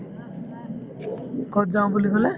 ক'ত যাওঁ বুলি ক'লে?